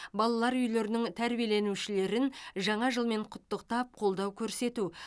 балалар үйлерінің тәрбиеленушілерін жаңа жылмен құттықтап қолдау көрсету